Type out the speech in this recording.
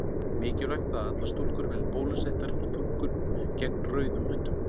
mikilvægt að allar stúlkur verði bólusettar fyrir þungun gegn rauðum hundum